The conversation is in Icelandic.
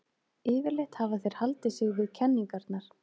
Yfirleitt hafa þeir haldið sig við kenningarnar.